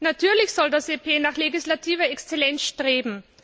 Natürlich soll das EP nach legislativer Exzellenz streben.